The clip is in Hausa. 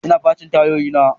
Ina facin tayoyina.